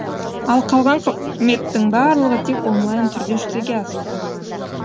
ал қалған қызметтің барлығы тек онлайн түрде жүзеге асуда